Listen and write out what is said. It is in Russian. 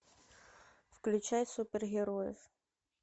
включай супергероев